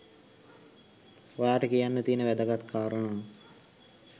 ඔයාට කියන්න තියෙන වැදගත් කාරණාව